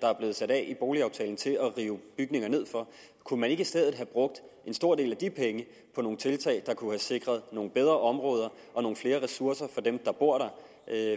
der er blevet sat af i boligaftalen til at rive bygninger ned for kunne man ikke i stedet have brugt en stor del af de penge på nogle tiltag der kunne have sikret nogle bedre områder og nogle flere ressourcer for dem der bor der